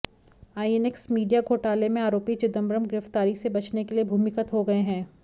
INX media घोटाले में आरोपी चिदंबरम गिरफ्तारी से बचने के लिए भूमिगत हो गए हैं